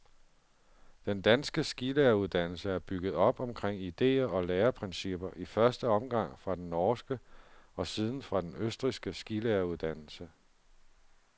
Den danske skilæreruddannelse er bygget op omkring idéer og læreprincipper i første omgang fra den norske og siden fra den østrigske skilæreruddannelse.